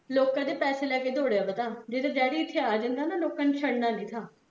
ਲੋਕੀਂ ਦੇ ਪੈਸੇ ਲੈਕੇ ਦਹੋੜੇਆ ਵਾਹ ਠ ਜੇ ਤਾਂ ਡੈਡੀ ਇੱਥੇ ਅਜੰਦਾ ਲੋਕਾਂ ਨੇ ਸ਼ਡਨਾ ਨੀ ਥਾਂ